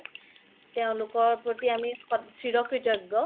তেওলোকৰ প্ৰতি আমি চিৰ ক্ৰিতোগ্যো